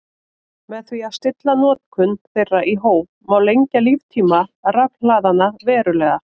Með því að stilla notkun þeirra í hóf má lengja líftíma rafhlaðanna verulega.